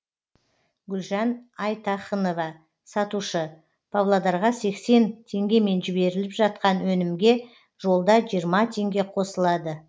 гүлжан айтахынова сатушы павлодарға сексен теңгемен жіберіліп жатқан өнімге жолда жиырма теңге қосылады